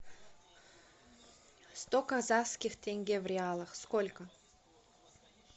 сто казахских тенге в реалах сколько